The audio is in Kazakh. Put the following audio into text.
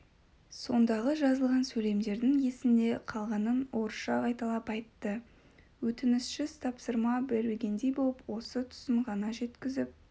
сондағы жазылған сөйлемдердің есінде қалғанын орысша қайталап айтты өтінішсіз тапсырма бергендей боп осы тұсын ғана жеткізіп